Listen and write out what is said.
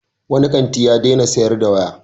Wani kanti ya daina sayar da waya.